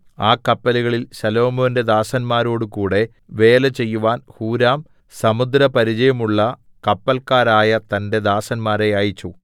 ആ കപ്പലുകളിൽ ശലോമോന്റെ ദാസന്മാരോടുകൂടെ വേലചെയ്യുവാൻ ഹൂരാം സമുദ്രപരിചയമുള്ള കപ്പല്ക്കാരായ തന്റെ ദാസന്മാരെ അയച്ചു